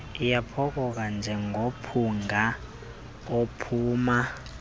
iyaphokoka njengomphunga ophuma